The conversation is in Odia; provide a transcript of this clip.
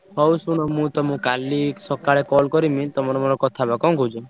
ହଉ ଶୁଣ ମୁଁ ତମୁକୁ କାଲି ସକାଳେ call କରିମି ତମର ମୋର କଥା ହବା। କଣ କହୁଛ?